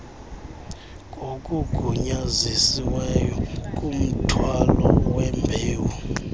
ngokugunyazisiweyo kumthwalo wembewu